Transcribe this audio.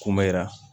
Koma yira